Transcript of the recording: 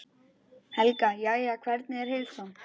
Helga: Jæja, hvernig er heilsan?